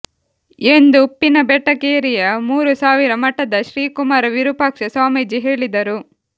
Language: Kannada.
ಎಂದು ಉಪ್ಪಿನಬೆಟಗೇರಿಯ ಮೂರು ಸಾವಿರ ಮಠದ ಶ್ರೀ ಕುಮಾರ ವಿರುಪಾಕ್ಷ ಸ್ವಾಮೀಜಿ ಹೇಳಿದರು